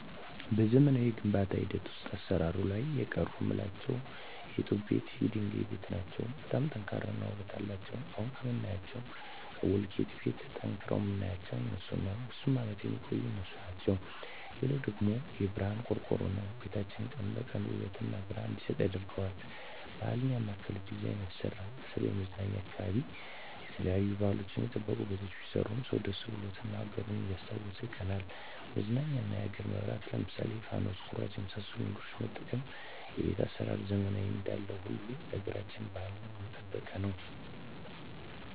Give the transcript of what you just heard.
በዘመናዊ የግንባታ ሂደት ውሰጥ አሰራር ላይ የቀሩ ምላቸው የጡብ ቤት የድንጋይ ቤት ናቸው በጣም ጠንካራ እና ውበት አለቸው አሁን ከምናያቸው ከቡልኪት ቤት ጠንቅረዉ ምናያቸው እነሡን ነው ብዙም አመት የሚቆዩ እነሡ ናቸው ሌላው ደግሞ የብረሀን ቆርቆሮ ነው ቤታችን ቀን ቀን ውበት እና ብረሀን እንዲሰጥ ያረገዋል ባህል ያማከለ ዲዛይን አይሰራም በተለይም መዝናኛ አካባቢ የተለያዩ ባህልችን የጠበቁ ቤቶች ቢሰሩ ሰው ደስ ብሎት እና አገሩን እያስታወሱ ይቀናናል መዝናኛ የኛን አገር መብራት ለምሳሌ ፋኑስ ኩራዝ የመሠሉ ነገሮች መጠቀም ቤት አሰራራችንን ዘመናዊ እንዳለው ሁሉ ያገራቸውን ባህል የጠበቀ አለበት